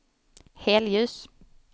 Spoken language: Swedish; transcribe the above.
helljus